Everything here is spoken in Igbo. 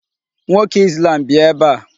Nwoke Islam bịa ebe a.